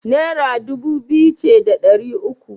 Naira dubu biyu ce da ɗari uku.